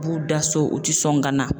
U b'u da so u ti sɔn ka na.